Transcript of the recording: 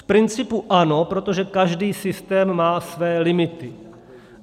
V principu ano, protože každý systém má své limity.